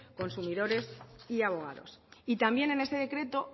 consumidores y abogados y también en este decreto